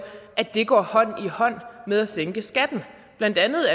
at det går hånd i hånd med at sænke skatten blandt andet